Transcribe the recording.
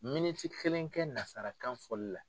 Miniti kelen kɛ nansarakan foli la.